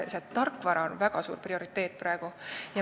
See tarkvara on praegu prioriteet.